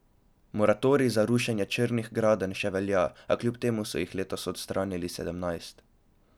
Moratorij za rušenje črnih gradenj še velja, a kljub temu so jih letos odstranili sedemnajst.